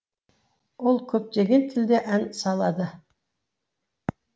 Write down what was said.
ол көптеген тілде ән салады